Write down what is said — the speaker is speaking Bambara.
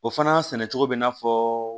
O fana sɛnɛcogo bɛ na fɔ